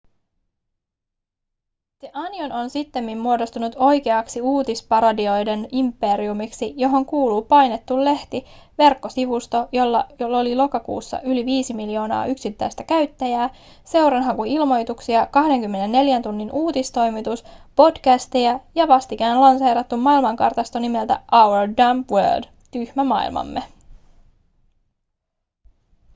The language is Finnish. the onion on sittemmin muodostunut oikeaksi uutisparodioiden imperiumiksi johon kuuluu painettu lehti verkkosivusto jolla oli lokakuussa yli 5 miljoonaa yksittäistä käyttäjää seuranhakuilmoituksia 24 tunnin uutistoimitus podcasteja ja vastikään lanseerattu maailmankartasto nimeltä our dumb world tyhmä maailmamme